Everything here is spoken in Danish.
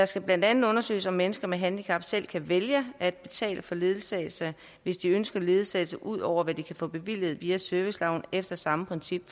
skal blandt andet undersøges om mennesker med handicap selv kan vælge at betale for ledsagelse hvis de ønsker ledsagelse ud over hvad de kan få bevilget via serviceloven efter samme princip